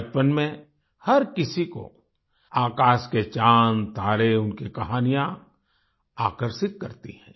बचपन में हर किसी को आकाश के चाँदतारे उनकी कहानियाँ आकर्षित करती हैं